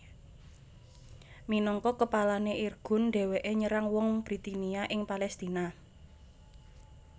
Minangka kepalané Irgun dhèwèké nyerang wong Britania ing Palèstina